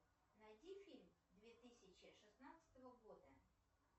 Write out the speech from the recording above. найди фильм две тысячи шестнадцатого года